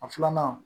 A filanan